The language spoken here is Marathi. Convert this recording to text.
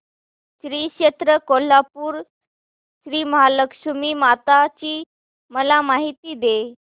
श्री क्षेत्र कोल्हापूर श्रीमहालक्ष्मी माता ची मला माहिती दे